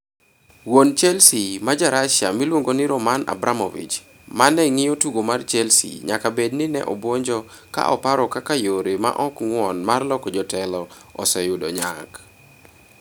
Wuon Chelsea ma Ja - Russia miluongo ni Roman Abramovich, ma ne ng'iyo tugo mar Chelsea, nyaka bed ni ne obwonjo ka oparo kaka yore ma ok ng'won mar loko jotelo oseyudo nyak.